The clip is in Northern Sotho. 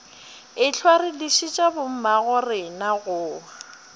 ehlwa re dišitše bommagorena go